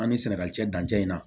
An ni sɛnɛgali cɛ dancɛ in na